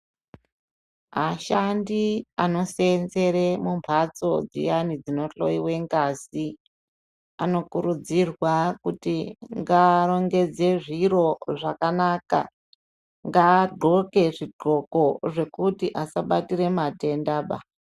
Ashandi anosenzere mumhatso dziyani dsinohloyiwe ngazi anokurudzirwa kuti ngaarongedze zviro zvakanaka ngaadhloke zvidhloko zvekuti asabatire matendaba.